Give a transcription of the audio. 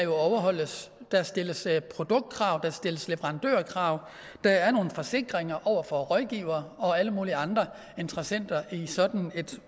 overholdes der stilles produktkrav der stilles leverandørkrav og der er nogle forsikringer over for rådgivere og alle mulige andre interessenter i sådan en